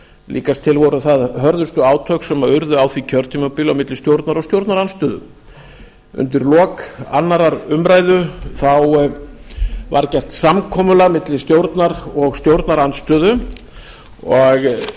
líkast til voru það hörðustu átök sem urðu á því kjörtímabili milli stjórnar og stjórnarandstöðu undir lok annarrar umræðu var gert samkomulag milli stjórnar og stjórnarandstöðu og